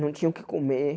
Não tinha o que comer.